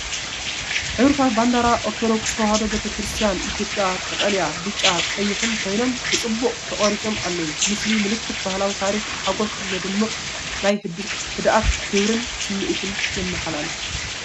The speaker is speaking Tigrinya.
ሕብርታት ባንዲራ ኦርቶዴክስ ተዋህዶ ቤተ ክርስትያን ኢትዮጵያ ቀጠልያ፡ ብጫን ቀይሕን ኮይኖም፡ ብጽቡቕ ተቐሪጾም ኣለዉ። ምስሊ ምልክት ባህላዊ ታሪኽ ብሓጎስ ዝደምቕ። ናይ ህድኣትን ክብርን ስምዒት ይመሓላለፍ።